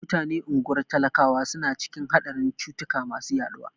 Mutanen unguwar talakawa suna cikin haɗarin cutuka masu yaɗuwa.